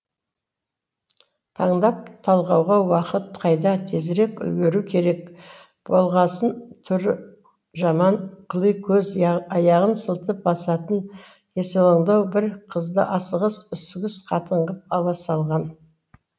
таңдап талғауға уақыт қайда тезірек үлгеру керек болғасын түрі жаман қыли көз аяғын сылтып басатын есалаңдау бір қызды асығыс үсігіс қатын ғып ала салған